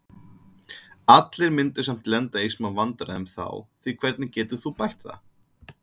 Allir myndu samt lenda í smá vandræðum þá því hvernig getur þú bætt það?